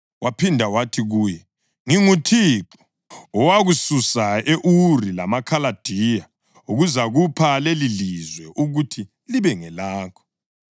Waphinda wathi kuye, “ NginguThixo owakususa e-Uri lamaKhaladiya ukuzakupha lelilizwe ukuthi libe ngelakho.”